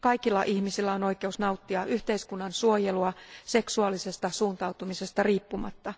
Kaikilla ihmisillä on oikeus nauttia yhteiskunnan suojelua seksuaalisesta suuntautumisesta riippumatta.